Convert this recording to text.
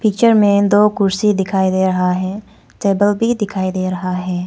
Picture में दो कुर्सी दिखाई दे रहा है टेबल भी दिखाई दे रहा है।